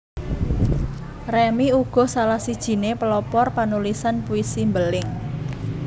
Remy uga salah sijiné pelopor panulisan puisi mbeling